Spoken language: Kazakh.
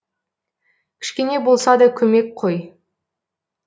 кішкене болса да көмек қой